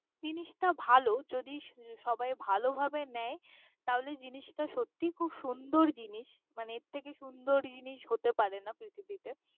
জিনিসটা ভালো যদি সবাই ভালোভাবে নেয়। তাহলে জিনিসটা সত্যিই খুব সুন্দর জিনিস মানে এর থেকে সুন্দর জিনিস আর হতে পারে না পৃথিবীতে।